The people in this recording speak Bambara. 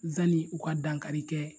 Zani u ka dankari kɛ